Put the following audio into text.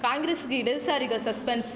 காங்கிரசுக்கு இடதுசாரிகள் சஸ்பென்ஸ்